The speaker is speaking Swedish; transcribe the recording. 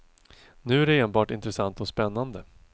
Nu är det enbart intressant och spännande.